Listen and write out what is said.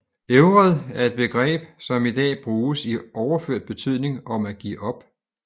Ævred er et begreb som i dag bruges i overført betydning om at give op